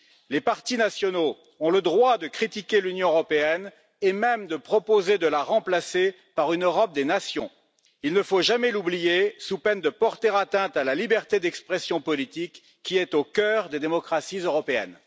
Les partis nationaux ont le droit de critiquer l'Union européenne et même de proposer de la remplacer par une Europe des nations. Il ne faut jamais l'oublier, sous peine de porter atteinte à la liberté d'expression politique qui est au cœur des démocraties européennes.